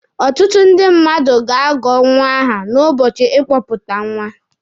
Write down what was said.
Ọtụtụ ndị mmadụ ga-agọ nwa aha n'ụbọchị ịkpọpụta nwa.